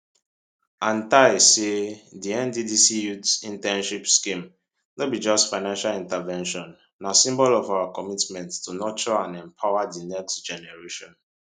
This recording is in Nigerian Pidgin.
antai say di nddc youth internship scheme no be just financial intervention na symbol of our commitment to nurture and empower di next generation